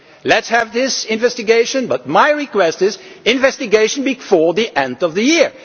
Let us have this investigation but my request is for an investigation before the end of the year.